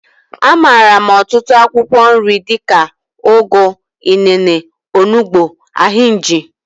A maara m ọtụtụ akwụkwọ nri dika, ugu, inene, onugbu, ahinji.